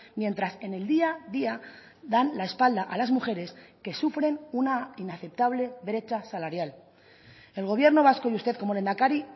mientras en el día a día dan la espalda a las mujeres que sufren una inaceptable brecha salarial el gobierno vasco y usted como lehendakari